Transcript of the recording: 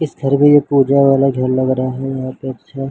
इस घर में ये पूजावाला झेंडा बना है यहाँ पे अच्छा--